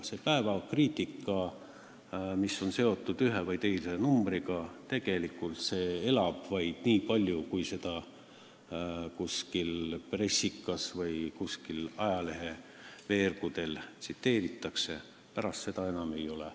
See kriitika, mis on seotud ühe või teise numbriga, elab tegelikult vaid niikaua, kui seda mõnes pressikas või kuskil ajaleheveergudel tsiteeritakse, pärast seda teda enam ei ole.